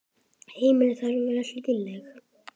Heimili þurfa að vera hlýleg.